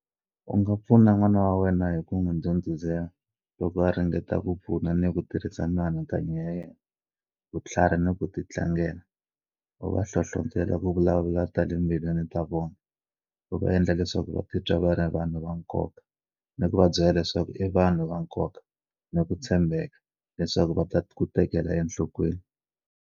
U nga pfuna n'wana wa wena hi ku n'wi ndhundhuzela loko a ringeta ku pfuna ni ku tirhisa mianakanyo ya yena, vutlharhi ni ku titlangela, u va hlohlotela ku vulavula ta le timbilwini ta vona, u va endla leswaku va titwa va ri vanhu va nkoka, ni ku va byela leswaku i vanhu va nkoka, ni ku tshembheka, leswaku va ta ku tekela enhlokweni.